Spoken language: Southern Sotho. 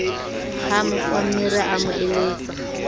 ha mofammere a mo eletsa